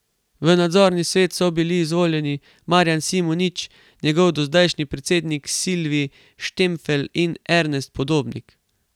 V nadzorni svet so bili izvoljeni Marjan Simonič, njegov dozdajšnji predsednik, Silvij Štremfelj in Ernest Podobnik.